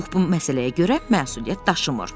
Pux bu məsələyə görə məsuliyyət daşımır.